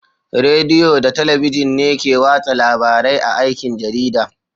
Rediyo da Talabijin ne ke watsa labarai a aikin jarida.